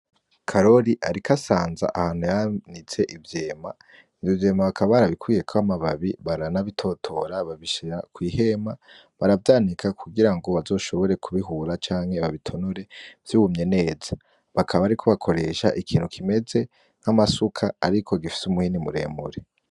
Karoli arika asanza ahantu yanise ivyema niovyema bakabaarabikwiye koamababi baranabitotora babishira kw'ihema baravyanika kugira ngo bazoshobore kubihura canke babitonore vyuumye neza bakaba, ariko bakoresha ikintu kimeze nk'amasuka, ariko gifise umuhini muremure.